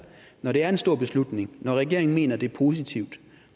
når det er en stor beslutning og når regeringen mener det er positivt